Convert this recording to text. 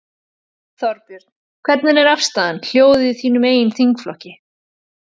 Þorbjörn: Hvernig er afstaðan, hljóðið í þínum eigin þingflokki?